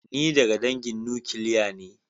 Ni daga dangin nukiliya ne.